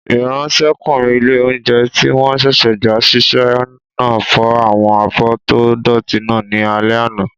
Ìráńṣẹ́kùnrin ilé-oúnjẹ tí wọ́n sẹ̀sẹ̀ gbà ṣiṣẹ́ náà fọ àwọn abọ́ tó dọ̀ọ̀tí náà ní alẹ́ àná